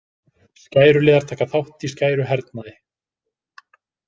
Skæruliðar taka þátt í skæruhernaði.